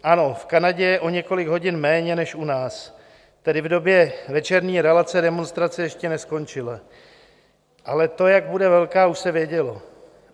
Ano, v Kanadě je o několik hodin méně než u nás, tedy v době večerní relace demonstrace ještě neskončila, ale to, jak bude velká, už se vědělo.